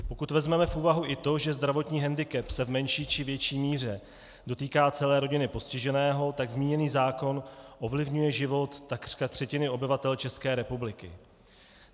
Pokud vezmeme v úvahu i to, že zdravotní hendikep se v menší či větší míře dotýká celé rodiny postiženého, tak zmíněný zákon ovlivňuje život takřka třetiny obyvatel České republiky.